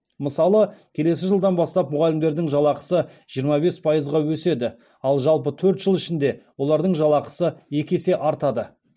мысалы келесі жылдан бастап мұғалімдердің жалақысы жиырма бес пайызға өседі ал жалпы төрт жыл ішінде олардың жалақысы екі есе артады